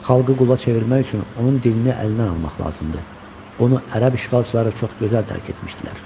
Xalqı qula çevirmək üçün onun dilini əlindən almaq lazımdır, bunu ərəb işğalçıları çox gözəl dərk etmişdilər.